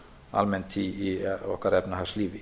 almennt í okkar efnahagslífi